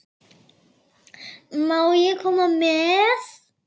Má ég koma með?